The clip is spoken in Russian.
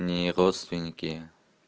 не родственники